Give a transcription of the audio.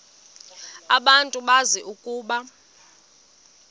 abantu bazi ukuba